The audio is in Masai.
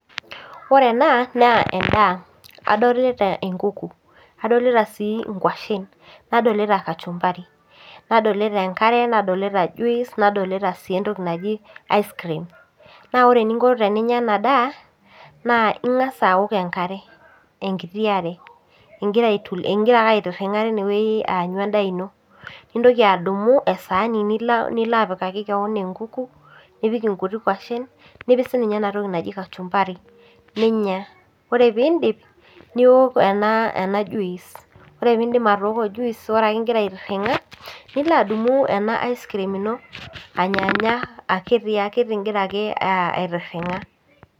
Ore ena naa endaa , adolita enkuku , adolita sii inkwashen, nadolita kachumbari , nadolita enkare , nadolita juice, nadolita sii entoki naji ice cream .Naa ore eninko teninya ena daa daa naa ingas aok enkare , enkiti are , ingira ake ,aingira ake aitiringa tine wueji aanyu endaa ino. Nintoki adumu esaani niloapikaki enkuku , nipik inkuti kwashen , nipik sininye enatoki naji kachumbari ninya, ore piindip niok ena, ena juice , ore pindip atoko juice , ore ake ingira aitiringa , nilo adumu ena ice cream ino anyanya akitiakiti ingira ake aitiringa .